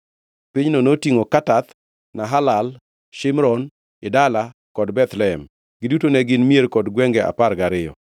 Pinyno notingʼo Katath, Nahalal, Shimron, Idala kod Bethlehem. Giduto ne gin mier kod gwenge apar gariyo.